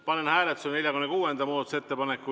Panen hääletusele 46. muudatusettepaneku.